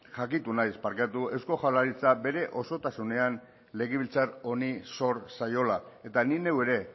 jakitun naiz eusko jaurlaritzak bere osotasunean legebiltzar honi zor zaiola eta ni neu ere